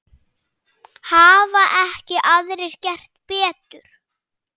Hafa ekki aðrir gert betur.